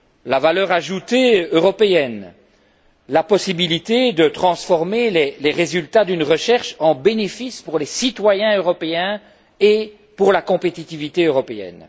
la valeur ajoutée européenne, la possibilité de transformer les résultats d'une recherche en bénéfices pour les citoyens européens et pour la compétitivité européenne.